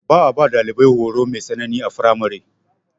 Ba a ba ɗalibai horo mai tsanani a firamare.